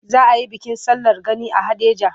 Za a yi bikin sallar gani a Haɗeja.